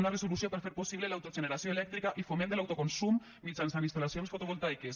una resolució per fer possible l’autogeneració elèctrica i foment de l’autoconsum mitjançant instal·lacions fotovoltaiques